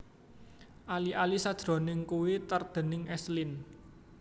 Ali ali sajroning kuwé tart déning S Lin